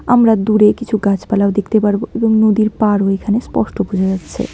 আমরা দূরে কিছু গাছপালাও দেখতে পারব এবং নদীর পাড়ও এখানে স্পষ্ট বোঝা যাচ্ছে।